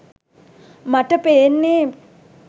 මට පේන්නෙ